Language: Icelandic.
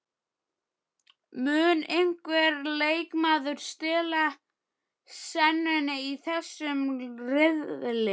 Mun einhver leikmaður stela senunni í þessum riðli?